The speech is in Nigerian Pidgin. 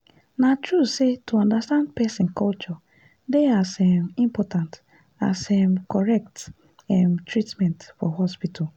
na true say to understand person culture dey as um important as um correct um treatment for hospital.